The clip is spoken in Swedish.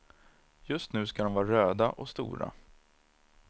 Just nu ska de vara röda och stora.